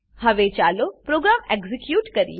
હવે ચાલો program execute કરીએ